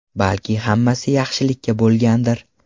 Balki hammasi yaxshilikka bo‘lgandir!?